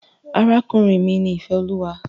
Arákùnrin mi ni Ìféolúwa.